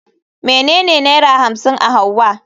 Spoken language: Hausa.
Menene naira hamsin a hauwa?